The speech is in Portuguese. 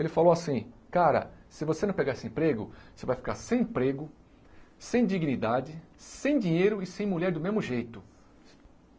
Ele falou assim, cara, se você não pegar esse emprego, você vai ficar sem emprego, sem dignidade, sem dinheiro e sem mulher do mesmo jeito.